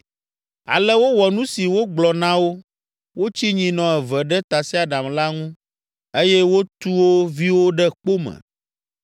Ale wowɔ nu si wogblɔ na wo. Wotsi nyinɔ eve ɖe tasiaɖam la ŋu eye wotu wo viwo ɖe kpo me.